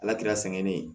Ala kira sɛgɛn ne ye